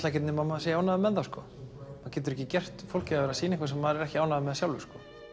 ekkert nema maður sé ánægður með það maður getur ekki gert fólki það að sýna eitthvað sem maður er ekki ánægður með sjálfur